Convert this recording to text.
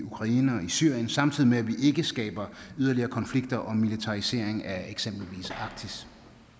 syrien samtidig med at vi ikke skaber yderligere konflikter og militarisering af eksempelvis arktis